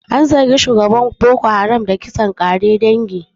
An zargi shugaban Boko Haram da kisan ƙare dangi.